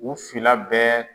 U fila bɛɛ.